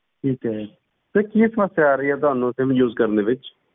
ਠੀਕ ਹੈ sir ਕੀ ਸਮੱਸਿਆ ਆ ਰਹੀ ਹੈ ਤੁਹਾਨੂੰ sim use ਕਰਨ ਦੇ ਵਿੱਚ?